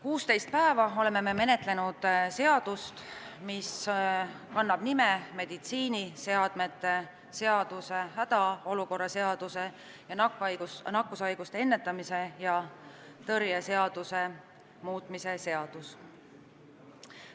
16 päeva oleme menetlenud seaduseelnõu, mis kannab nime "Meditsiiniseadmete seaduse, hädaolukorra seaduse ja nakkushaiguste ennetamise ja tõrje seaduse muutmise seadus".